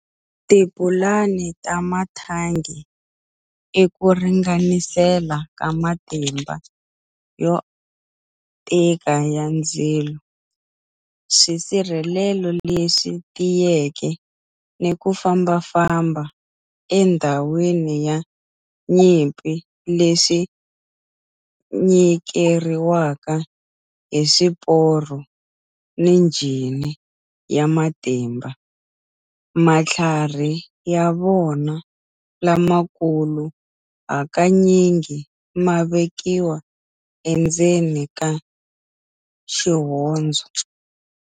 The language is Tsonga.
Tipulani ta mathangi i ku ringanisela ka matimba yo tika ya ndzilo, swisirhelelo leswi tiyeke, ni ku famba-famba endhawini ya nyimpi leswi nyikeriwaka hi swiporo ni njhini ya matimba, matlhari ya vona lamakulu hakanyingi ma vekiwa endzeni ka xihondzo.